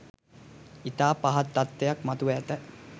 ඉතා පහත් තත්වයක් මතුව ඇත